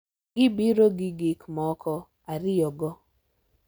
Gibiro gi gik moko ariyogo,